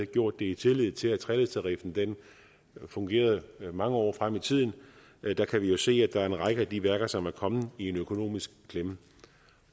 gjort det i tillid til at treledstariffen fungerede mange år frem i tiden der kan vi jo se at der er en række af de værker som er kommet i en økonomisk klemme